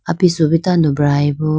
apisu bo tando brayi bo.